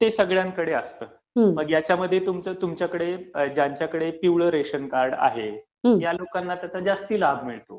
ते सगळ्यांकडेच असतं, मग आता याच्यामध्ये ज्यांच्याकडे पिवळं रेशनकार्ड आहे, अश्या लोकांना ह्याचा जास्त लाभ मिळतो